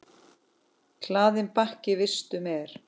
Hlaðinn bakki vistum er.